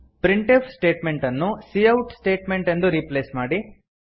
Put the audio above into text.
print F statement ಅನ್ನು cout statement ಇಂದ replace ಮಾಡಿ